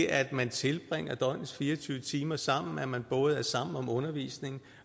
at man tilbringer døgnets fire og tyve timer sammen at man både er sammen om undervisningen